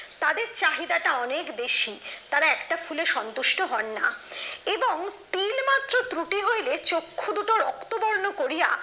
তাদের চাহিদাটা অনেক বেশি তারা একটা ফুলের সন্তুষ্ট হন না এবং তিলে মাত্র ত্রুটি হইলে চক্ষু দুটো রক্তবর্ণ করিয়া